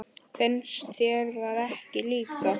Finnst þér það ekki líka?